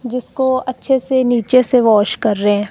जिसको अच्छे से नीचे से वॉश कर रहे--